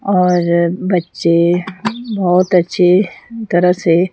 और बच्चे बहुत अच्छे तरह से--